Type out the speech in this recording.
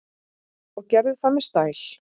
Og gerði það með stæl.